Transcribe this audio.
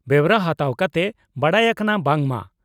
ᱵᱮᱣᱨᱟ ᱦᱟᱛᱟᱣ ᱠᱟᱛᱮ ᱵᱟᱰᱟᱭ ᱟᱠᱟᱱᱟ ᱵᱟᱝ ᱢᱟ